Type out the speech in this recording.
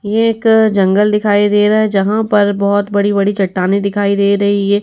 ये एक जंगल दिखाई दे रहा है जहाँ पर बहोत बड़ी - बड़ी चट्टानें दिखाई दे रही हैं।